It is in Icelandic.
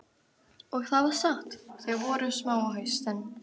Og það var satt, þau voru smá á haustin.